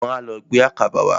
Wọ́n á lọ gbé àkàbà wá.